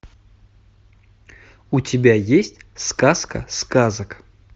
у тебя есть сказка сказок